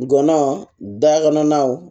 Ngɔnɔn dakɔnɔnaw